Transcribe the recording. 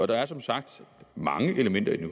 der er som sagt mange elementer i den